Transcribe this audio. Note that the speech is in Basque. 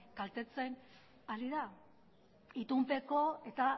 kaltetzen ari da itunpeko eta